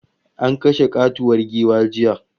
An kashe katuwar giwa jiya